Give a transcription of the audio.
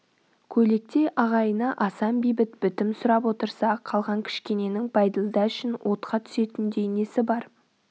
көйлектей ағайыны асан бейбіт бітім сұрап отырса қалған кішкененің бәйділда үшін отқа түсетіндей несі бар